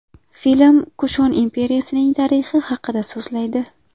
Film Kushon imperiyasining tarixi haqida so‘zlaydi.